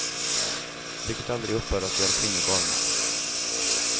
Vilket aldrig upphör att göra kvinnor galna.